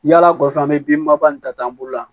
Yala kɔfɛ an be bin baba nin ta an bolo la